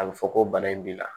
A bɛ fɔ ko bana in b'i la